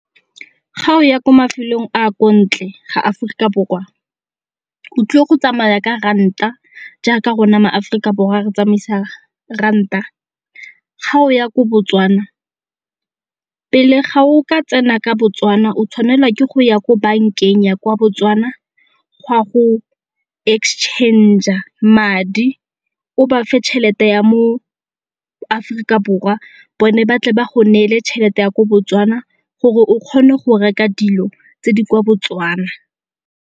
Ga o ya ko mafelong a ko ntle ga Aforika Borwa o tlile go tsamaya ka ranta jaaka rona ma-Aforika Borwa re tsamaisa ranta. Ga o ya ko Botswana pele ga o ka tsena ka Botswana o tshwanela ke go ya ko bankeng ya kwa Botswana go ya go exchange-a madi o ba fe tšhelete ya mo Aforika Borwa bone ba tle ba go neele tšhelete ya ko Botswana gore o kgone go reka dilo tse di kwa Botswana.